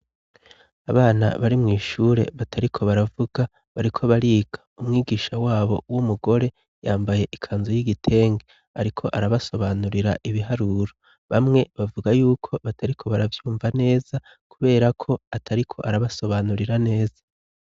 Abana bari mw' ishure batariko baravuga, bariko bariga. Umwigisha wabo w'umugore yambaye ikanzu y'igitenge. Ariko arabasobanurira ibiharuro. Bamwe bavuga yuko batariko baravyumva neza kubera ko atariko arabasobanurira neza.